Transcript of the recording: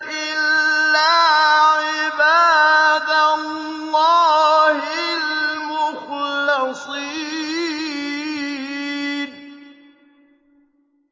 إِلَّا عِبَادَ اللَّهِ الْمُخْلَصِينَ